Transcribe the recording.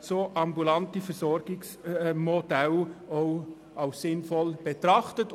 solche ambulante Versorgungsmodelle als sinnvoll zu betrachten.